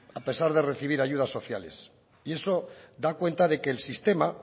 a pesar de recibir ayudas sociales y eso da cuenta de que el sistema